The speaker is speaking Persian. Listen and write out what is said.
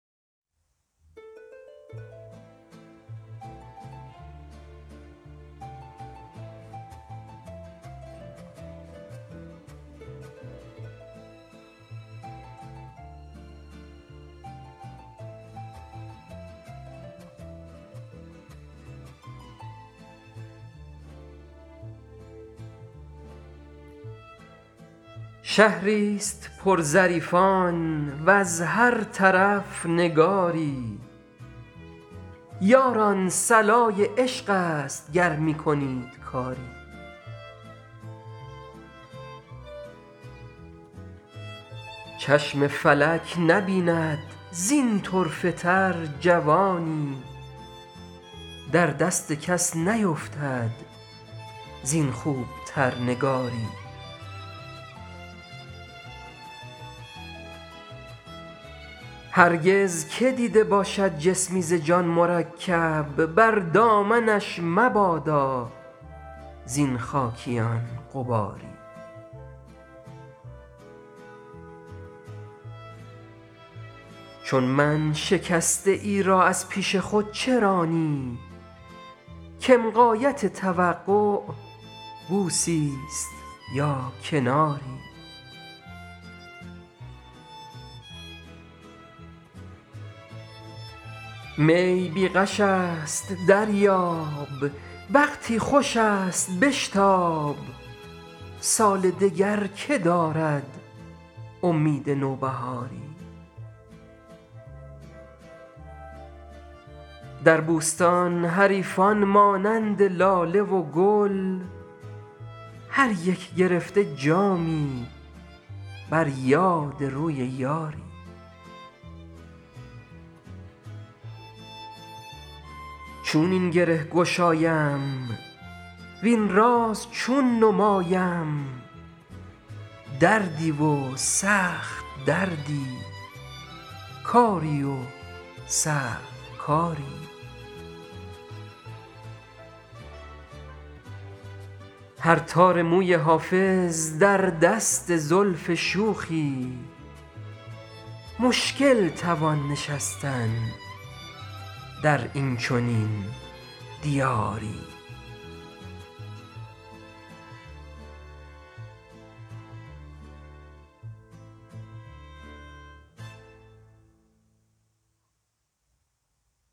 شهری ست پر ظریفان وز هر طرف نگاری یاران صلای عشق است گر می کنید کاری چشم فلک نبیند زین طرفه تر جوانی در دست کس نیفتد زین خوب تر نگاری هرگز که دیده باشد جسمی ز جان مرکب بر دامنش مبادا زین خاکیان غباری چون من شکسته ای را از پیش خود چه رانی کم غایت توقع بوسی ست یا کناری می بی غش است دریاب وقتی خوش است بشتاب سال دگر که دارد امید نوبهاری در بوستان حریفان مانند لاله و گل هر یک گرفته جامی بر یاد روی یاری چون این گره گشایم وین راز چون نمایم دردی و سخت دردی کاری و صعب کاری هر تار موی حافظ در دست زلف شوخی مشکل توان نشستن در این چنین دیاری